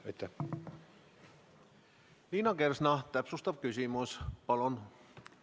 Liina Kersna, täpsustav küsimus, palun!